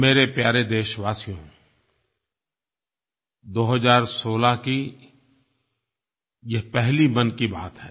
मेरे प्यारे देशवासियो 2016 की ये पहली मन की बात है